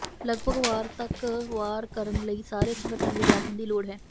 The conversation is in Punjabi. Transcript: ਲੱਗਭਗ ਵਾਰ ਤੱਕ ਵਾਰ ਕਰਨ ਲਈ ਸਾਰੇ ਸੰਗਠਨ ਵਿਗਿਆਪਨ ਦੀ ਲੋੜ ਹੈ